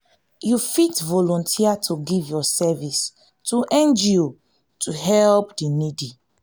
you fit volunteer to give your service to ngo to help the needy